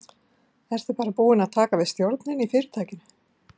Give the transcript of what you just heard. Ertu bara búin að taka við stjórninni í fyrirtækinu?